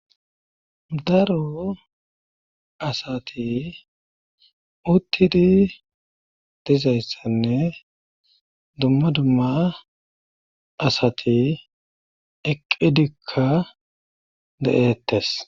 Daro asati uttidi dizayssanne dumma dumma asati eqqidikka de7eettees.